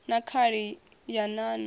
na khali ya nan o